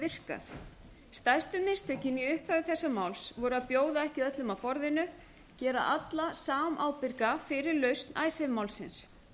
virkað stærstu mistökin í upphafi þessa máls voru að bjóða ekki öllum að borðinu gera alla samábyrga fyrir lausn icesave málsins